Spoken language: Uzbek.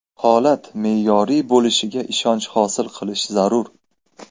Holat me’yoriy bo‘lishiga ishonch hosil qilish zarur.